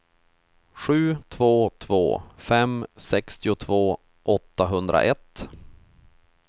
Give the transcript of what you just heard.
sju två två fem sextiotvå åttahundraett